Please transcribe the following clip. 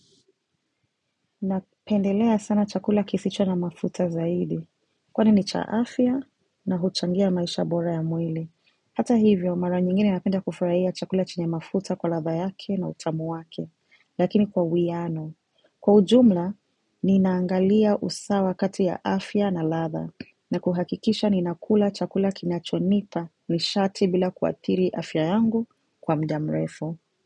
Napendelea sana chakula kisicho na mafuta zaidi, kwani ni cha afya na huchangia maisha bora ya mwili. Hata hivyo, mara nyingine napenda kufurahia chakula chenye mafuta kwa ladha yake na utamu wake, lakini kwa uwiano. Kwa ujumla, ninaangalia usawa kati ya afya na ladha, na kuhakikisha ninakula chakula kinachonipa nishati bila kuathiri afya yangu kwa muda mrefu.